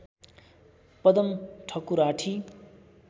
Padam Thakurathi